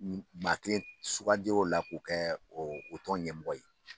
Maa kelen sugandir'o la k'o kɛ o tɔn ɲɛmɔgɔ ye.